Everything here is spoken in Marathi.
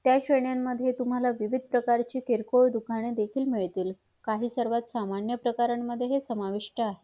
त्या श्रेणी मध्ये तुम्हाला विविध प्रकरची किरकोळ दुकाने देखील मिळतील काही सर्व सामान्य प्रकारामध्ये समाविष्ठ आहे